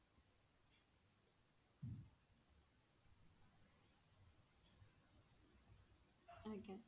ଆଜ୍ଞା